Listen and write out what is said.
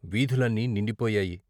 వీధులన్నీ నిండిపోయాయి.